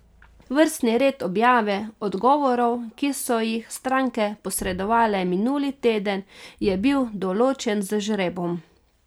Vrstni red objave odgovorov, ki so jih stranke posredovale minuli teden, je bil določen z žrebom.